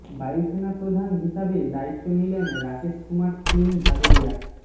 বায়ুসেনা প্রধান হিসাবে দায়িত্ব নিলেন রাকেশ কুমার সিং ভাদোরিয়া